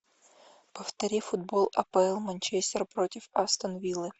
повтори футбол апл манчестер против астон виллы